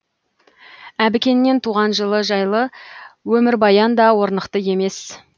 әбікеннен туған жылы жайлы өмірбаян да орнықты емес